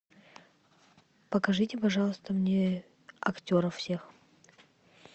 покажите пожалуйста мне актеров всех